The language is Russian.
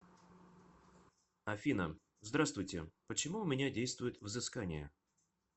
афина здравствуйте почему у меня действует взыскание